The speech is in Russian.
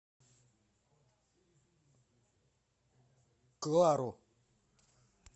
клару